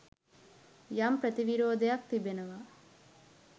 යම් ප්‍රතිවිරෝධයක් තියෙනවා.